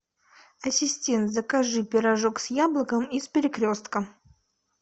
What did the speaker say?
ассистент закажи пирожок с яблоком из перекрестка